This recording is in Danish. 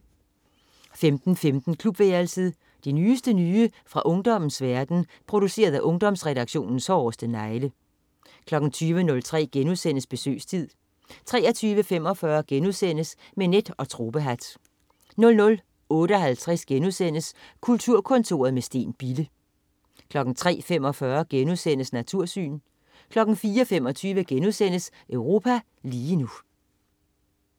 15.15 Klubværelset. Det nyeste nye fra ungdommens verden, produceret af Ungdomsredaktionens hårdeste negle 20.03 Besøgstid* 23.45 Med net og tropehat* 00.58 Kulturkontoret med Steen Bille* 03.45 Natursyn* 04.25 Europa lige nu*